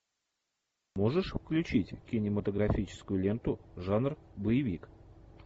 можешь включить кинематографическую ленту жанр боевик